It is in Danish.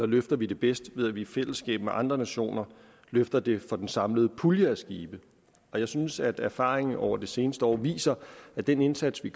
løfter det bedst ved at vi i fællesskab med andre nationer løfter det for den samlede pulje af skibe og jeg synes at erfaringerne over det seneste år viser at den indsats vi